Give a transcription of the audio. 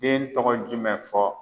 Den tɔgɔ jumɛn fɔ